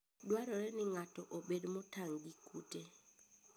Dwarore ni ng'ato obed motang' gi kute.